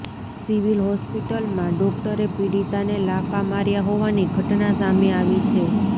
civil હોસ્પિટલમાં ડોક્ટરે પીડિતાને લાફા માર્યા હોવાની ઘટના સામે આવી છે